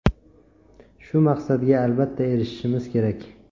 Shu maqsadga albatta erishimiz kerak.